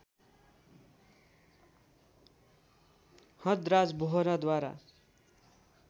हदराज वोहराद्वारा